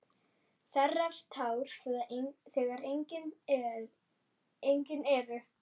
Þerrar tár þegar engin eru.